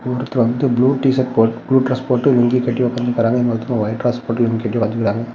ஒருத்தர் வந்து blue T-shirt போட்டு ப்ளூ டிரஸ் போட்டு லுங்கி கட்டி உக்காந்துருக்கறாங்க இன்னொருத்தர் ஒயிட் டிரஸ் போட்டு லுங்கி கட்டி உக்காந்துருக்கறாங்க.